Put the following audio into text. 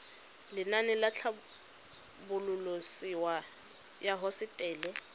lenaane la tlhabololosewa ya hosetele